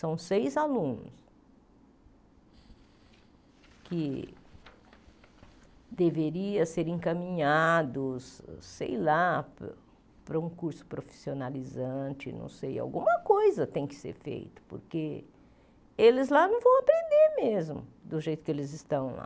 São seis alunos que deveriam ser encaminhados, sei lá, para um para um curso profissionalizante, não sei, alguma coisa tem que ser feita, porque eles lá não vão aprender mesmo do jeito que eles estão lá.